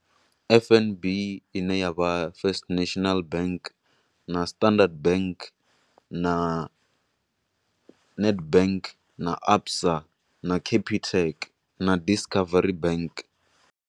F_N_B ine ya vha First National Bank, na Standard bank, na Nedbank, na ABSA, na Capitec, na Discovery bank.